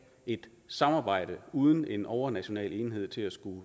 et samarbejde uden en overnational enhed til at skulle